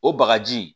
O bagaji